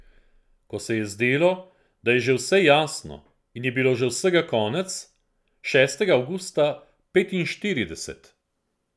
Ko se je zdelo, da je že vse jasno in je bilo že vsega konec, šestega avgusta petinštirideset.